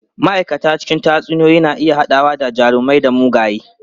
Ma'aikata cikin tatsuniyoyi na iya haɗawa da jarumai da mugaye.